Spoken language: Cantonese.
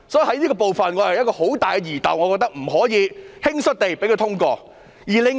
我對這部分有很大的疑竇，所以不能輕率地通過決議案。